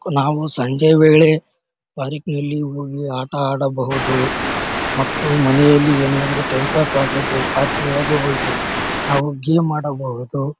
ನಾವು ಸಂಜೆ ವೇಳೆ ಪಾರ್ಕಿ ನಲ್ಲಿ ಹೋಗಿ ಆಟ ಆಡಬಹುದು ಮತ್ತು ಮನೆಯಲ್ಲಿ ಏನಾದ್ರು ಟೈಮ್ ಪಾಸ್ ಆಗ್ಲಿಲ್ಲಾ ಅಂದ್ರೆ ಪಾರ್ಕಿ ನೊಳಗೆ ಹೋಗಿ ನಾವು ಗೇಮ್ ಆಡಬಹುದು.